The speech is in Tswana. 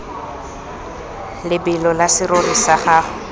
lebelo la serori sa gago